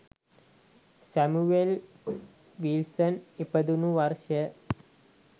Samuel Wilson ඉපදුනු වර්ෂය